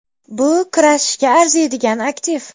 Bu kurashishga arziydigan aktiv.